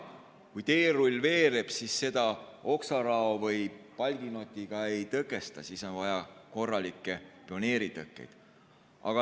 Kui teerull veereb, siis seda oksarao või palginotiga ei tõkesta, vaid vaja on korralikke pioneeritõkkeid.